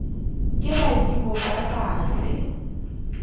ke badimo ba sa fele